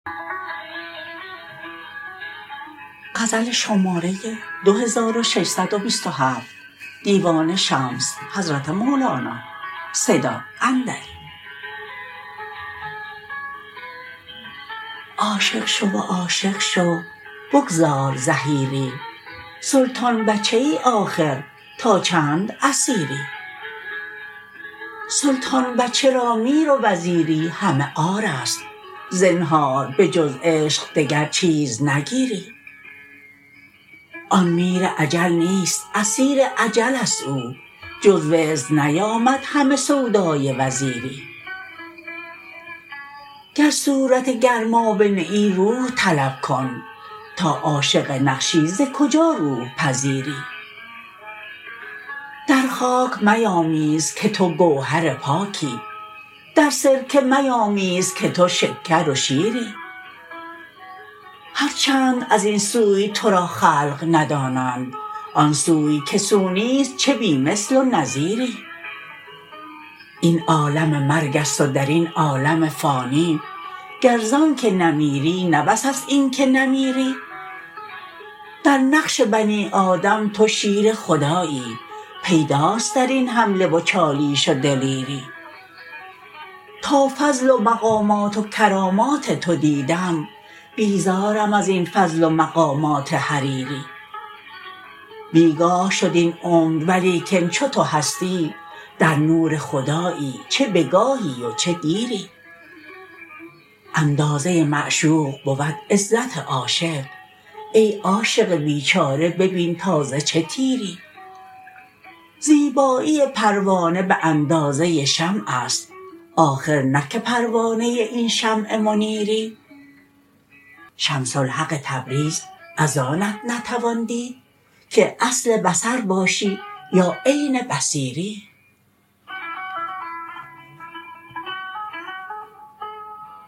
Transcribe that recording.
عاشق شو و عاشق شو بگذار زحیری سلطان بچه ای آخر تا چند اسیری سلطان بچه را میر و وزیری همه عار است زنهار به جز عشق دگر چیز نگیری آن میر اجل نیست اسیر اجل است او جز وزر نیامد همه سودای وزیری گر صورت گرمابه نه ای روح طلب کن تا عاشق نقشی ز کجا روح پذیری در خاک میامیز که تو گوهر پاکی در سرکه میامیز که تو شکر و شیری هر چند از این سوی تو را خلق ندانند آن سوی که سو نیست چه بی مثل و نظیری این عالم مرگ است و در این عالم فانی گر ز آنک نه میری نه بس است این که نمیری در نقش بنی آدم تو شیر خدایی پیداست در این حمله و چالیش و دلیری تا فضل و مقامات و کرامات تو دیدم بیزارم از این فضل و مقامات حریری بی گاه شد این عمر ولیکن چو تو هستی در نور خدایی چه به گاهی و چه دیری اندازه معشوق بود عزت عاشق ای عاشق بیچاره ببین تا ز چه تیری زیبایی پروانه به اندازه شمع است آخر نه که پروانه این شمع منیری شمس الحق تبریز از آنت نتوان دید که اصل بصر باشی یا عین بصیری